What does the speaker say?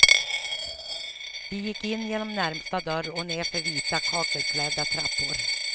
Vi gick in genom närmsta dörr och nerför vita, kakelklädda trappor.